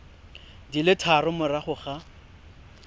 di le tharo morago ga